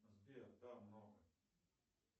сбер да много